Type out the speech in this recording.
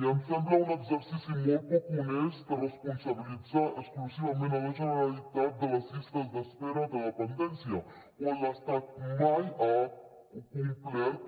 i em sembla un exercici molt poc honest responsabilitzar exclusivament la generalitat de les llistes d’espera de dependència quan l’estat mai ha complert